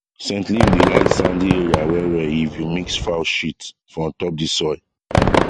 scent leaf dey like sandy area well well if you mix fowl shit for ontop of the soil